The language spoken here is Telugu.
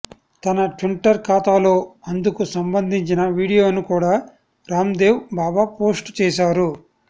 తన ట్విట్టర్ ఖాతాలో అందుకు సంబంధించిన వీడియోను కూడా రామ్ దేవ్ బాబా పోస్టు చేశారు